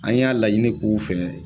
An y'a laɲini k'u fɛ.